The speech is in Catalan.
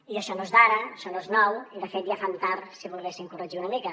i això no és d’ara això no és nou i de fet ja fan tard si ho volguessin corregir una mica